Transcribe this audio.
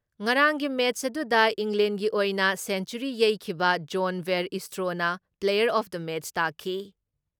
ꯉꯔꯥꯡꯒꯤ ꯃꯦꯠꯁ ꯑꯗꯨꯗ ꯏꯪꯂꯦꯟꯒꯤ ꯑꯣꯏꯅ ꯁꯦꯡꯆꯨꯔꯤ ꯌꯩꯈꯤꯕ ꯖꯣꯟ ꯕꯦꯔ ꯏꯁꯇ꯭ꯔꯣꯅ ꯄ꯭ꯂꯦꯌꯥꯔ ꯑꯣꯐ ꯗ ꯃꯦꯠꯁ ꯇꯥꯈꯤ ꯫